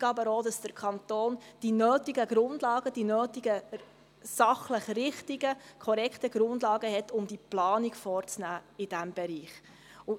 Gleichzeitig muss der Kanton aber auch die nötigen, sachlich richtigen und korrekten Grundlagen haben, um die Planung in diesem Bereich vorzunehmen.